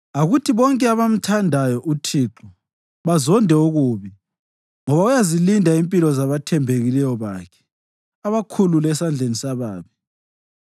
Akuthi bonke abamthandayo, uThixo, bazonde okubi, ngoba uyazilinda impilo zabathembekileyo bakhe abakhulule esandleni sababi.